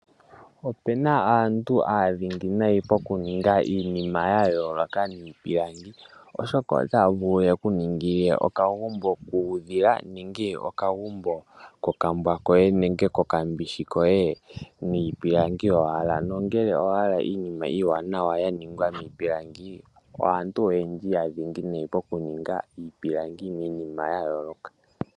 Opu na aantu aanongo noonkondo pokuninga iinima miipilangi, oshoka otaya vulu ye ku ningile okagumbo kuudhila nenge okagumbo kokambwa koye nenge kombishi koye niipilangi owala nongele owa hala iinima iiwanawa ya ningwa niipilangi aantu oyendji aanongo pokuninga niipilangi iinima ya yoolokathana.